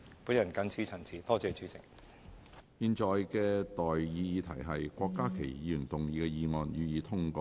我現在向各位提出的待議議題是：郭家麒議員動議的議案，予以通過。